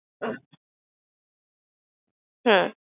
হু